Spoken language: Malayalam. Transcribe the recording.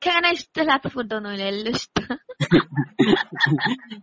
ഇഷ്ടില്ലാത്ത ഫുഡ് ഒന്നുമില്ല എല്ലാം ഇഷ്ട